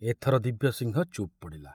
ଏଥର ଦିବ୍ୟସିଂହ ଚୁପ ପଡ଼ିଲା।